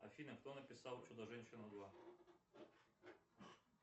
афина кто написал чудо женщину два